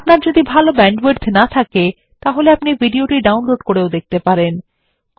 আপনার যদি ভাল ব্যান্ডউইডথ না থাকে আপনি ভিডিওটি ডাউনলোড করেও দেখতে পারেন